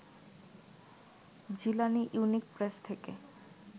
Jilani unique press থেকে